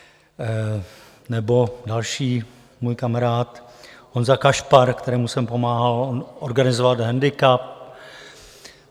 Nebo další můj kamarád Honza Kašpar, kterému jsem pomáhal organizovat handicap.